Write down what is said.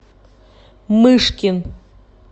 мышкин